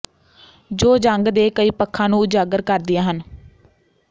ਜੋ ਜੰਗ ਦੇ ਕਈ ਪੱਖਾਂ ਨੂੰ ਉਜਾਗਰ ਕਰਦੀਆਂ ਹਨ